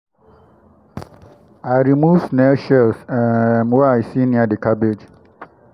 i remove snail shells um wey i see near the cabbage.